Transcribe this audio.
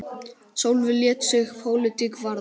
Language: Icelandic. Sólveig lét sig pólitík varða.